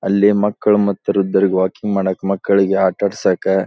ಅಲ್ಲಿ ಮಕ್ಕಳು ಮತ್ತು ವೃದ್ದರಿಗೆ ವಾಕಿಂಗ್ ಮಾಡೋಕ್ಕೆ ಮಕ್ಕಳಿಗೆ ಆಟ ಆಡಿಸೋಕ್ಕೆ --